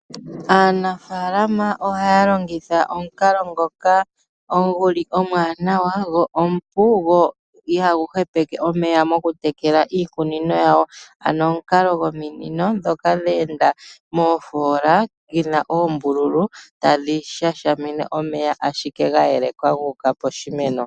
Aanafalama ohaya lingitha omukalo ngoka nguli omwanawa go omupu go ihagu hepeke omeya mokutekeka iikunino yawo .Ano omukalo gominino dhoka dhe enda mofola yina ombululu tadhi shashamine omeya ashike gayeleka guka poshimeno.